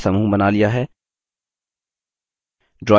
हमने objects का समूह बना लिया है